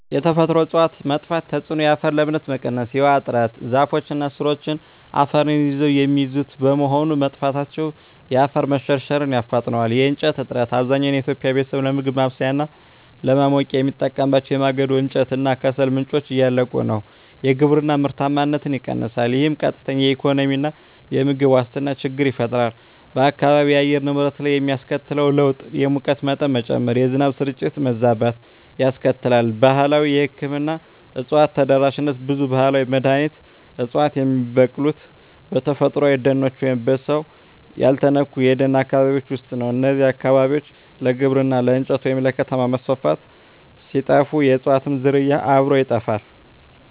የተፈጥሮ እፅዋት መጥፋት ተጽዕኖ የአፈር ለምነት መቀነስ እና የውሃ እጥረ ዛፎች እና ሥሮቻቸው አፈርን ይዘው የሚይዙት በመሆኑ፣ መጥፋታቸው የአፈር መሸርሸርን ያፋጥነዋል። የእንጨት እጥረት፣ አብዛኛው የኢትዮጵያ ቤተሰብ ለምግብ ማብሰያ እና ለማሞቂያ የሚጠቀምባቸው የማገዶ እንጨት እና ከሰል ምንጮች እያለቁ ነው። የግብርና ምርታማነት ይቀንሳል፣ ይህም ቀጥተኛ የኢኮኖሚና የምግብ ዋስትና ችግር ይፈጥራል። በአካባቢው የአየር ንብረት ላይ የሚያስከትለው ለውጥ የሙቀት መጠን መጨመር፣ የዝናብ ስርጭት መዛባት ያስከትላል። ባህላዊ የሕክምና እፅዋት ተደራሽነት ብዙ ባህላዊ መድኃኒት ዕፅዋት የሚበቅሉት በተፈጥሮአዊ ደኖች ወይም በሰው ያልተነኩ የደን አካባቢዎች ውስጥ ነው። እነዚህ አካባቢዎች ለግብርና፣ ለእንጨት ወይም ለከተማ መስፋፋት ሲጠፉ፣ የእፅዋቱም ዝርያ አብሮ ይጠፋል።